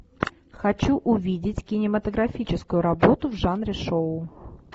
хочу увидеть кинематографическую работу в жанре шоу